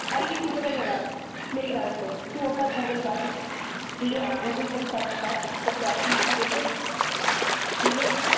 ਅੜੀਏ ਤੂੰ ਪਤਾ ਕਿਆ ਕਰ ਮੇਰੀ ਗੱਲ ਸੁਨ ਤੂੰ ਆਪਣਾ ਗੂਗਲ ਕੱਢ ਠੀਕ ਹੈ ਗੂਗਲ ਪਰ search ਕਰ ਪੰਜਾਬੀ status ਠੀਕ ਹੈ